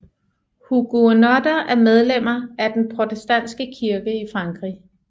Huguenotter er medlemmer af den protestantiske kirke i Frankrig